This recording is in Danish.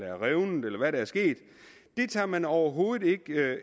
er revnet eller hvad der er sket det tager man overhovedet ikke